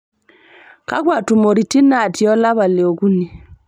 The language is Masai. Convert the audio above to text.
kakwa tumoritin natii olapa li okuni